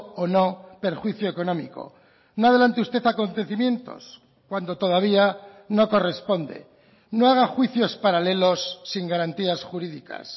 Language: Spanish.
o no perjuicio económico no adelante usted acontecimientos cuando todavía no corresponde no haga juicios paralelos sin garantías jurídicas